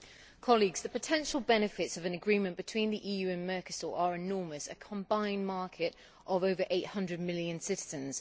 Mr President, the potential benefits of an agreement between the EU and Mercosur are enormous a combined market of over 800 million citizens.